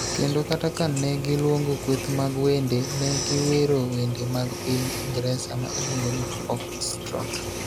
kendo kata ka ne giluongo kweth mag wende, ne giwero wende mag piny Ingresa ma iluongo ni Foxtrot.